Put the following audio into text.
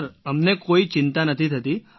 sir અમને કોઈ ચિંતા નથી થતી